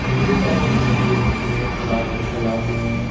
हंदीक पासने यहाँ जो एक तालाब हरे तालाब में। --